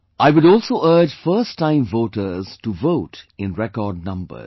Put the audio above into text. I would also urge first time voters to vote in record numbers